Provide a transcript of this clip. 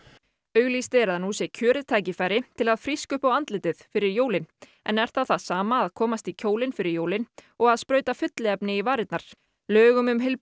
auglýst er að nú sé kjörið tækifæri til að fríska upp á andlitið fyrir jólin en er það það sama að komast í kjólinn fyrir jólin og sprauta fylliefni í varirnar lögum um